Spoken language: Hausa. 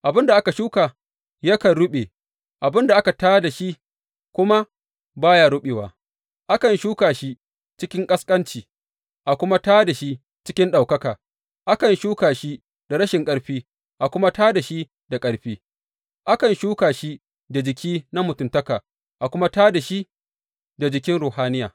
Abin da aka shuka yakan ruɓe, abin da aka tā da shi kuma ba ya ruɓewa; akan shuka shi cikin ƙasƙanci, a kuma tā da shi cikin ɗaukaka, akan shuka shi da rashin ƙarfi, a kuma tā da shi da ƙarfi; akan shuka shi da jiki na mutuntaka, a kuma tā da shi da jikin ruhaniya.